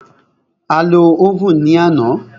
A lo óvùn ní àná.